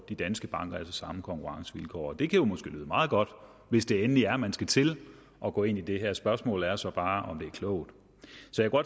de danske banker altså samme konkurrencevilkår det kan jo måske lyde meget godt hvis det endelig er man skal til at gå ind i det her spørgsmålet er så bare om det er klogt